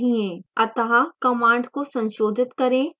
अतः command को संशोधित करें